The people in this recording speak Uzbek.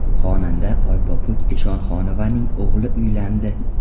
Xonanda Oypopuk Eshonxonovaning o‘g‘li uylandi .